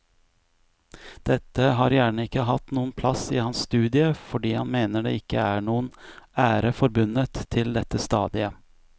Dette har gjerne ikke hatt noen plass i hans studie fordi han mener det ikke er noen ære forbundet til dette stadiet.